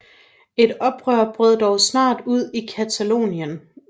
Et oprør brød dog snart ud i Catalonien